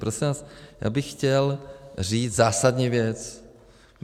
Prosím vás, já bych chtěl říct zásadní věc.